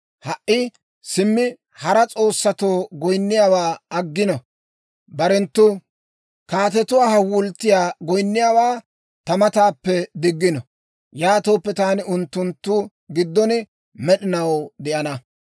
Ha"i simmi hara s'oossatoo goyinniyaawaa aggino; barenttu kaatetuwaa hawulttiyaa goynniyaawaa ta mataappe diggino. Yaatooppe, taani unttunttu giddon med'inaw de'ana.